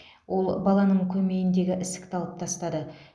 ол баланың көмейіндегі ісікті алып тастады